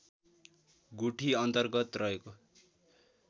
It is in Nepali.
गुठी अन्तर्गत रहेको